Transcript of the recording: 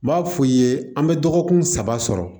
N b'a fɔ i ye an bɛ dɔgɔkun saba sɔrɔ